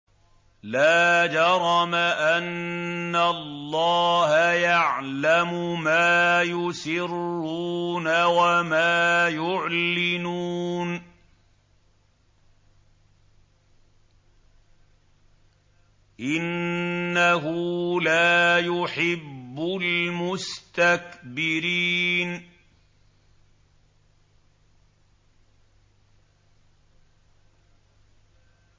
لَا جَرَمَ أَنَّ اللَّهَ يَعْلَمُ مَا يُسِرُّونَ وَمَا يُعْلِنُونَ ۚ إِنَّهُ لَا يُحِبُّ الْمُسْتَكْبِرِينَ